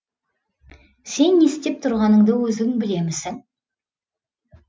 сен не істеп тұрғаныңды өзің білемісің